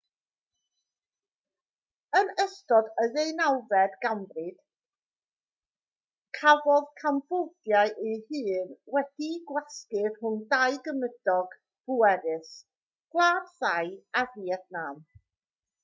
yn ystod y ddeunawfed ganrif cafodd cambodia ei hun wedi'i gwasgu rhwng dau gymydog pwerus gwlad thai a fietnam